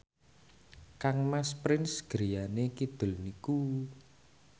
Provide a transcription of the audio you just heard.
kangmas Prince griyane kidul niku